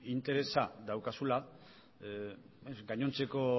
interesa daukazula gainontzeko